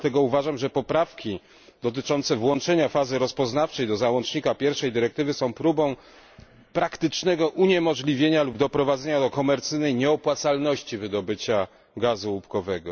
Dlatego uważam, że poprawki dotyczące włączenia fazy rozpoznawczej do załącznika pierwszej dyrektywy są próbą praktycznego uniemożliwienia lub doprowadzenia do komercyjnej nieopłacalności wydobycia gazu łupkowego.